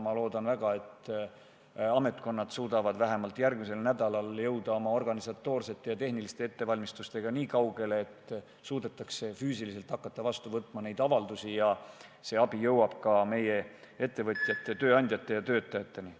Ma loodan väga, et ametkonnad jõuavad vähemalt järgmisel nädalal oma organisatoorsete ja tehniliste ettevalmistustega nii kaugele, et suudetakse füüsiliselt hakata neid avaldusi vastu võtma ning see abi jõuab ka meie ettevõtjate, tööandjate ja töötajateni.